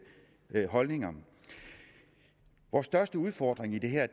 holdninger vores største udfordring i det her